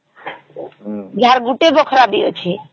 ଯାହାର ଗୋଟେ ବଖରା ବି ଅଛି